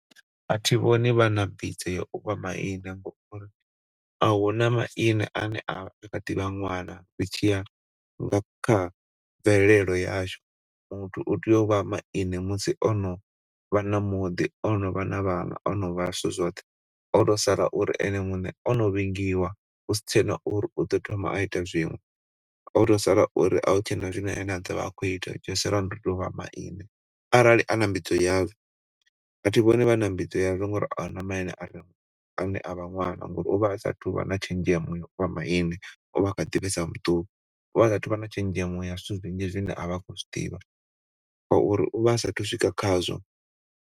Athi vhoni vhana mbidzo ya u vha maine ngauri ahuna maine ane a kha ḓivha ṅwana ri tshi ya kha mvelelo yashu. Muthu u tea u vha maine musi o novha na muḓi, o novha na vhana, o no vha zwithu zwoṱhe hoto sala uri ene muṋe o no vhingiwa husi tshena uri u ḓo thoma a ita zwiṅwe hoto sala uri ahu tshena zwine ane a ḓo vha a khou ita tsho sala ho ndi tou vha maine arali a na mbidzo yazwo. A thi vhoni vhana mbidzo yazwo ngauri ahuna maine ane a vha ṅwana ngauri u vha a sa thuvha na tshenzhemo ya u vha maine u vha a kha ḓi vhesa muṱuku, u vha asathu vha na tshenzhemo ya zwithu zwinzhi zwine a khou zwiḓivha ngauri uvha asathu swika khazwo.